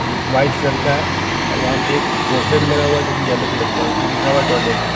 White colour का वहां पे एक पोस्टर भी लगा हुआ है जो कि येलो कलर का उसमें लिखा हुआ टॉयलेट ।